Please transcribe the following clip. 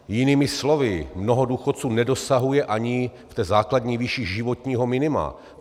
Jinými slovy, mnoho důchodců nedosahuje ani v té základní výši životního minima.